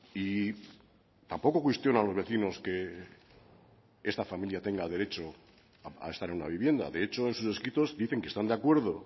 y tampoco cuestiono a los vecinos que esta familia tenga derecho a estar en una vivienda de hecho en sus escritos dicen que están de acuerdo